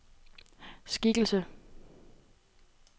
skikkelse